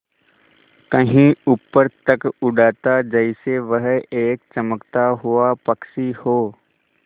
कहीं ऊपर तक उड़ाता जैसे वह एक चमकता हुआ पक्षी हो